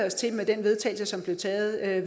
sig til at